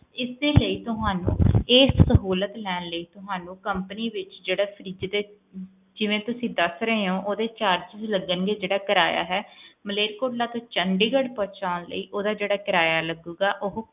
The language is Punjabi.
ਇਸ ਦੇ ਲਈ ਤੁਹਾਨੂੰ ਇਹ ਸਹੂਲੀਅਤ ਲੈਣ ਲਾਇ ਤੁਹਾਨੂੰ ਜਿਹੜੇ charges ਹੈਗੇ ਨੇ ਤੁਸੀਂ ਦੱਸ ਰਹੇ ਹੋ ਮਾਲੇਰਕੋਟਲਾ ਤੋਂ ਜਿਹੜਾ ਚੰਡੀਗੜ੍ਹ ਪਹੁੰਚਾਉਣ ਲਈ ਓਹਦਾ ਜਿਹੜਾ ਕਿਰਾਇਆ ਲੱਗੂਗਾ ਉਹ